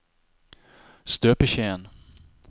støpeskjeen